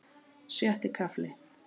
Sjötti kafli